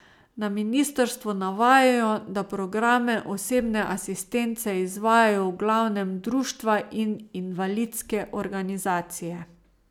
Na ministrstvu navajajo, da programe osebne asistence izvajajo v glavnem društva in invalidske organizacije.